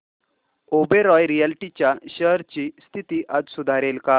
Oberoi realty च्या shares ची स्थिती आज सुधारेल का